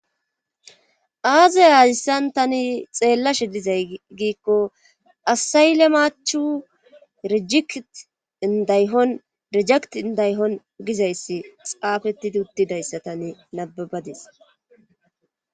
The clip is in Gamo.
Azaya aazissan tani xeellashe dizay giikko asaylemachu rijikt indayhon rejekt indayhon gizayssi xaafettidi uttidayssa tani nababadis.